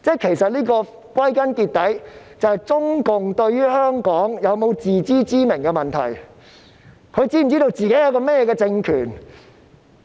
其實，歸根究底，這就是中共對香港有否自知之明的問題，它是否知道自己是一個怎樣的政權呢？